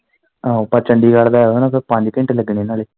ਆਹੋ ਪਰ ਚੰਡੀਗੜ ਦਾ ਇਹ ਨਾ ਫਿਰ ਪੰਜ ਘੰਟੇ ਲੱਗਣੇ ਨਾਲੇ।